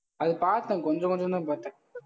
அது பாத்தேன் கொஞ்சம் கொஞ்சம்தான் பாத்தேன்.